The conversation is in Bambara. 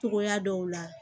Togoya dɔw la